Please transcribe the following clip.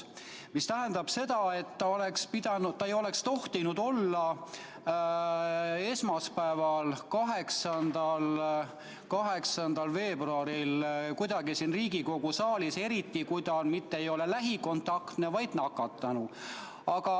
See tähendab seda, et ta ei oleks tohtinud esmaspäeval, 8. veebruaril siin Riigikogu saalis olla, eriti kui ta ei olnud mitte lähikontaktne, vaid nakatunu.